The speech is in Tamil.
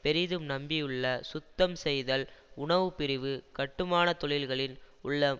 பெரிதும் நம்பியுள்ள சுத்தம் செய்தல் உணவுப்பிரிவு கட்டுமான தொழில்களில் உள்ள